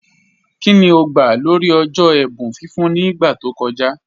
Kíni ó gbà lórí ọ̀jọ́ ẹ̀bùn fífún ní ìgbà tó kọ̀jà?